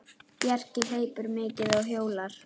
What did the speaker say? Bjarki hleypur mikið og hjólar.